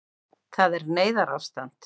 Það er neyðarástand